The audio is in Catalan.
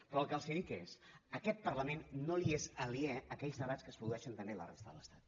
però el que els dic és a aquest parlament no li són aliens aquells debats que es produeixen també a la resta de l’estat